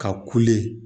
Ka kule